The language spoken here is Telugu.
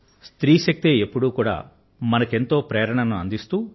స్త్రీ శక్తే ఎప్పుడూ కూడా మనకు ఎంతో ప్రేరణను అందిస్తూవస్తోంది